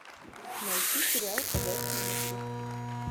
найти сериал ходячие мертвецы